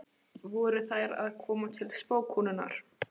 Voru þær að koma til spákonunnar?